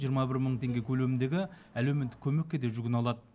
жиырма бір мың теңге көлеміндегі әлеуметтік көмекке де жүгіне алады